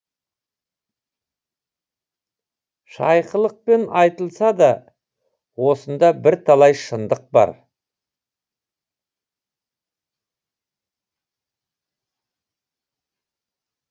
шайқылықпен айтылса да осында бірталай шындық бар